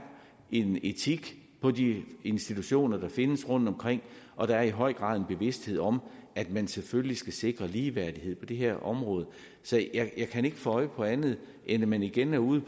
en etik på de institutioner der findes rundtomkring og der er i høj grad en bevidsthed om at man selvfølgelig skal sikre ligeværdighed på det her område så jeg kan ikke få øje på andet end at man igen er ude